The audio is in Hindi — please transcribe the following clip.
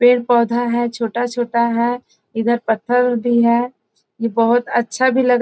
पेड़-पौधा है छोटा-छोटा है इधर पत्थर भी है ये बहुत अच्छा भी लग --